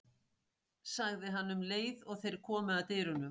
sagði hann um leið og þeir komu að dyrunum.